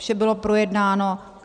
Vše bylo projednáno.